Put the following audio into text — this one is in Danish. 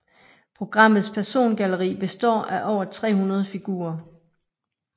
Programmets persongalleri består af over 300 figurer